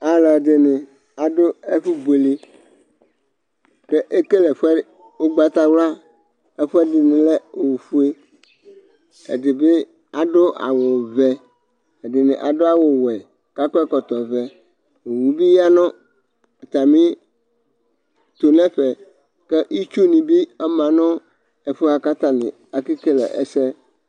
alʊɛɗɩnɩ aɗʊ ɩɓʊeleɗja eƙelɛƒʊɛ mʊ ʊgɓatawla ɛƒʊɛɗɩnɩlɛ oƒʊe alʊɛɗɩnɩaɗʊ awʊ ɔʋɛ ɛɗɩnɩmɩaɗʊ awʊ ɔwɛ ɛɗɩnɩaƙɔ ɛƙɔtɔ ɔʋɛ owʊɓɩƴanʊ ɛƒʊɛ ɩtsʊɓeɗɩɓɩƴanʊ ɛƒʊɛaƙaƙeƙele ɛsɛ